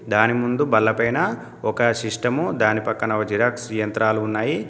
దాని ముందు బల్లపైన ఒక సిస్టము దాని పక్కన ఒక జిరాక్స్ యంత్రాలు ఉన్నాయి.